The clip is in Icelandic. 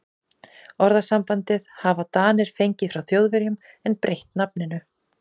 Orðasambandið hafa Danir fengið frá Þjóðverjum en breytt nafninu.